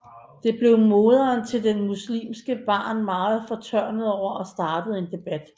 Det blev moderen til det muslimske barn meget fortørnet over og startede en debat